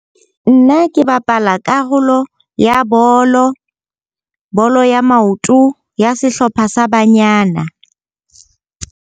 Nna ke bapala karolo ya bolo, bolo ya maoto ya sehlopha sa banyana.